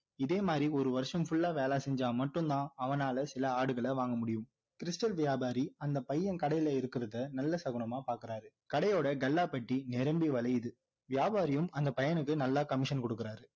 இதே மாதிரி ஒரு வருஷம் full லா வேலை செஞ்சா மட்டும் தான் அவனால சில ஆடுகள வாங்க முடியும் stal வியாபாரி அந்த பையன் கடையில இருக்கிறத நல்ல சகுனமா பார்க்kuறாரு கடையோட கல்லாப்பெட்டி நிரம்பி வழியுது வியாபாரியும் அந்த பையனுக்கு நல்லா commission கொடுக்கிறாரு